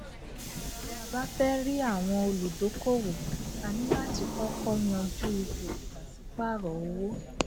tí a bá fẹ rí àwọn òludókòowò a ní láti kọkọ yanjú ipò ipasiparo owó